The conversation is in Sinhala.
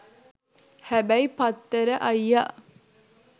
හැබැයි පත්තර අයියා